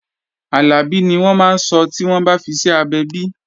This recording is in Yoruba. Àlàbí ni wọ́n máa sọ́ tí wọ́n bá fiṣẹ́ abẹ bi